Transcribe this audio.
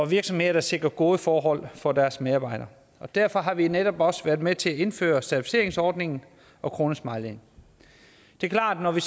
virksomheder der sikrer gode forhold for deres medarbejdere og derfor har vi netop også været med til at indføre certificeringsordningen og kronesmileyen det er klart at når vi